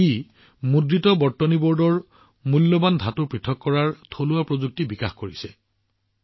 ই মুদ্ৰিত বৰ্তনী বোৰ্ডৰ পৰা মূল্যৱান ধাতু আহৰণৰ বাবে এটা থলুৱা প্ৰযুক্তি বিকশিত কৰিছে